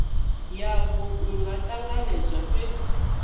yavho ku nga ṱanganedzwa fhedzi